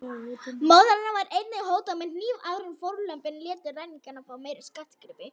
Móður hennar var einnig hótað með hníf áður en fórnarlömbin létu ræningjana fá meiri skartgripi.